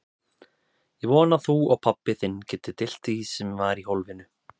Ég vona að þú og pabbi þinn getið deilt því sem var í hólfinu.